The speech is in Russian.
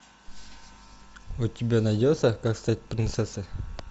у тебя найдется как стать принцессой